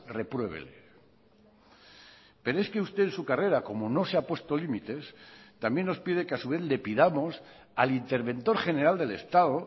repruébele pero es que usted en su carrera como no se ha puesto límites también nos pide que a su vez le pidamos al interventor general del estado